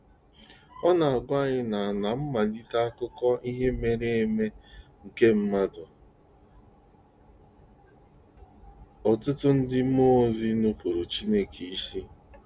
Ọ na-agwa anyị na aná mmalite akụkọ ihe mere eme nke mmadụ, ọtụtụ ndị mmụọ ozi nupụụrụ Chineke isi.